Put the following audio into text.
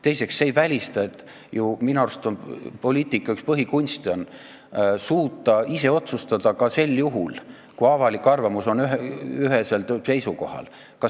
Teiseks, minu arust on poliitika üks põhikunste suuta ise otsustada ka sel juhul, kui avalik arvamus on ühesel seisukohal.